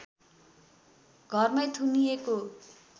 घरमै थुनिएको